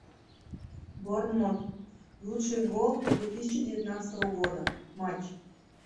борнмут лучший гол две тысячи девятнадцатого года матч